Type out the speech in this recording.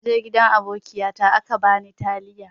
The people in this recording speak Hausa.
Naje gidan abokiyata aka bani taliya.